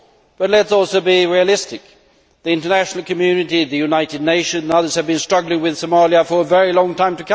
But let us also be realistic. The international community, the United Nations and others have been struggling with Somalia for a very long time.